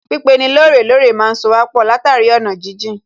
Pípeni lóòrè lóòrè má ń sowà pọ̀ látàrí ọ̀nà jíjìn